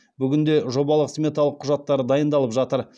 бүгінде жобалық сметалық құжаттары дайындалып жатыр